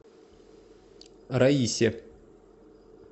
раисе